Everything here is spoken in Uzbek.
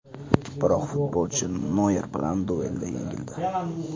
Biroq futbolchi Noyer bilan duelda yengildi.